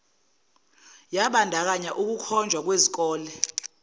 yabandakanya ukukhonjwa kwezikole